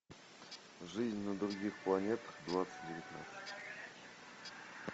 жизнь на других планетах двадцать девятнадцать